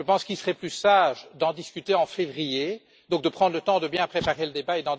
Je pense qu'il serait plus sage d'en discuter en février, et donc de prendre le temps de bien préparer le débat.